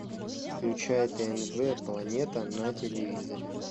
включай тнв планета на телевизоре